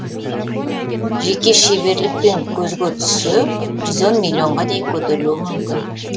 жеке шеберлікпен көзге түссе жүз он миллионға дейін көтерілуі мүмкін